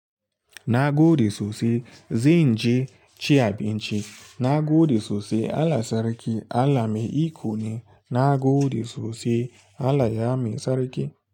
Na gode sosai. Zan je ci abinci. Na gode sosai. Allah Sarki Allah Mai iko ne. Nagode sosai Allah bamu sarki.